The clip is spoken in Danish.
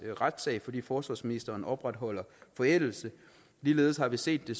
retssag fordi forsvarsministeren opretholder forældelsen ligeledes har vi set det